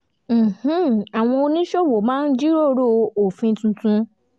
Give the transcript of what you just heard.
àwọn oníṣòwò máa ń jíròrò òfin tuntun